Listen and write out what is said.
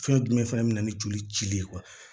Fɛn jumɛn fɛnɛ bɛna ni joli ci de ye